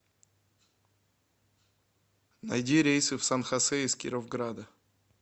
найди рейсы в сан хосе из кировграда